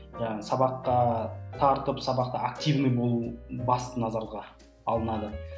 сабаққа тартып сабақта активно болу басты назарға алынады